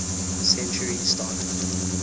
century started